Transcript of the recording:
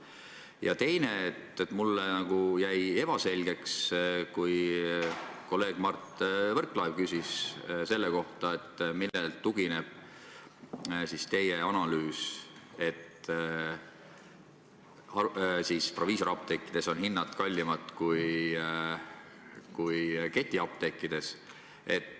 Ja teiseks: mulle jäi ebaselgeks teie vastus, kui kolleeg Mart Võrklaev küsis selle kohta, millele tugineb teie analüüs, et proviisoriapteekides on hinnad kallimad kui ketiapteekides.